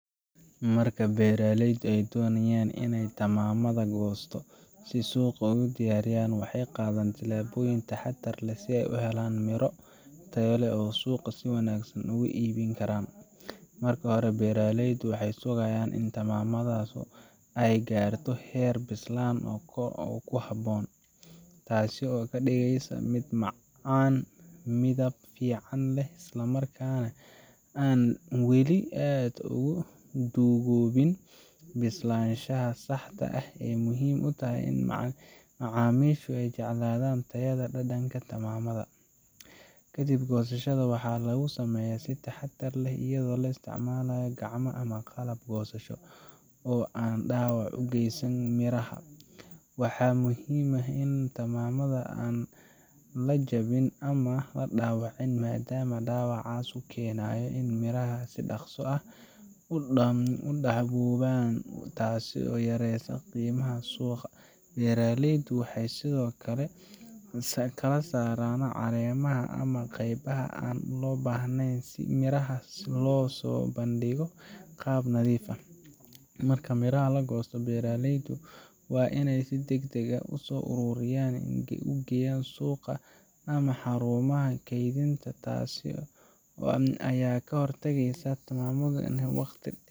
Marka beeraleyda ay doonayaan inay tamaandhada goosato oo suuqa ugu diyaariyaan, waxay qaadaan tilaabooyin taxaddar leh si ay u helaan miro tayo leh oo suuqa si wanaagsan uga iibin karaan. Marka hore, beeraleydu waxay sugayaan in tamaandhadu ay gaarto heer bislaan oo ku habboon, taasoo ka dhigaysa mid macaan, midab fiican leh, isla markaana aan weli aad u duugoobin. Bislaanshahan saxda ah ayaa muhiim u ah in macaamiishu ay jeclaadaan tayada iyo dhadhanka tamaandhada. Kadib, goosashada waxaa lagu sameeyaa si taxadar leh iyadoo la isticmaalayo gacmo ama qalab goosasho oo aan dhaawac u geysanin miraha. Waxaa muhiim ah in tamaandhada aan la jabin ama la dhaawicin maadaama dhaawacaas uu keenayo in miraha si dhaqso ah u daxaloobaan, taasoo yareysa qiimaha suuqa. Beeraleydu waxay sidoo kale ka saaraan caleemaha ama qaybaha aan loo baahnayn si miraha loo soo bandhigo qaab nadiif ah. Marka miraha la goosto, beeraleydu waa inay si degdeg ah u soo ururiyaan oo u geeyaan suuqa ama xarumaha kaydinta. Taas ayaa ka hortageysa in tamaandhadu ay waqti